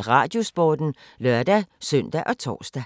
Radiosporten (lør-søn og tor)